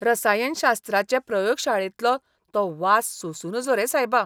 रसायनशास्त्राचे प्रयोगशाळेंतलो तो वास सोंसू नजो रे सायबा.